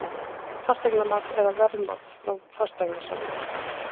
Fasteignamat eða verðmat frá fasteignasala?